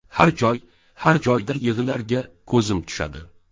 Har joy, har joyda yig‘ilarga ko‘zim tushadi.